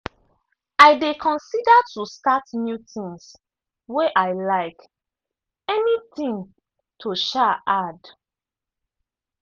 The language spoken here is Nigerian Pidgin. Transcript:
i dey consider to start new things way i like; any thing to um add.